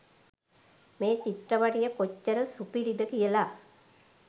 මේ චිත්‍රපටිය කොච්චර සුපිරිද කියලා